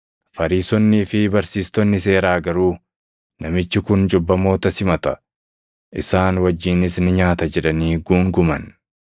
Fariisonnii fi barsiistonni seeraa garuu, “Namichi kun cubbamoota simata; isaan wajjinis ni nyaata” jedhanii guunguman.